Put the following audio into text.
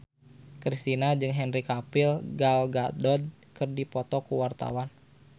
Kristina jeung Henry Cavill Gal Gadot keur dipoto ku wartawan